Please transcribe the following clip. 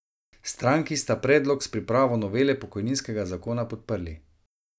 Stranki sta predlog s pripravo novele pokojninskega zakona podprli.